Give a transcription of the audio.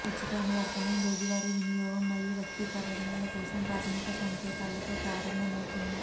ఉచిత అనువర్తనం రోజువారీ వినియోగం మరియు వ్యక్తీకరణల కోసం ప్రాథమిక సంకేతాలతో ప్రారంభమవుతుంది